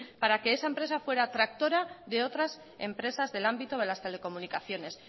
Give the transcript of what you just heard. para que esa empresa fuera tractora de otras empresas del ámbito de las telecomunicaciones